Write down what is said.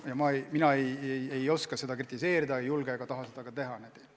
Mina ei oska seda kritiseerida, ei julge ega taha seda ka teha.